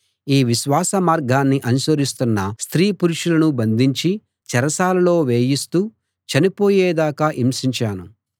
ఈ విశ్వాస మార్గాన్ని అనుసరిస్తున్న స్త్రీ పురుషులను బంధించి చెరసాలలో వేయిస్తూ చనిపోయేదాకా హింసించాను